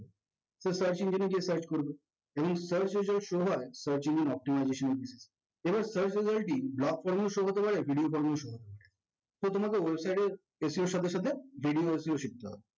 search engine এ গিয়ে search করবে এবং search এ যা show হয় search engine optimization এর জন্যে। তোমার search এর variety block form এও show হতে পারে video format এও show হতে পারে। so তোমাদের website এর SEO এর সাথে সাথে video ও শিখতে হবে